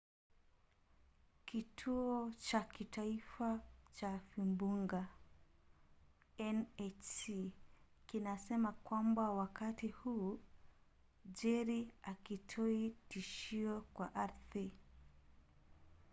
kituo cha kitaifa cha vimbunga nhc kinasema kwamba wakati huu jerry hakitoi tishio kwa ardhi